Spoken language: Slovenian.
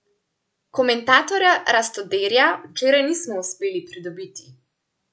Komentarja Rastoderja včeraj nismo uspeli pridobiti.